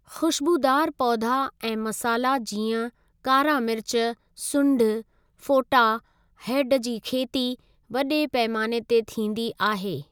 ख़ुशबुदारु पौधा ऐं मसाला जीअं कारा मिर्च, सुढिं, फोटा, हैडु जी खेती वडे॒ पैमाने ते थींदी आहे।